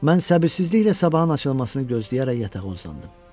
Mən səbirsizliklə sabahın açılmasını gözləyərək yatağa uzandım.